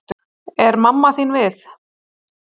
Er mamma þín við?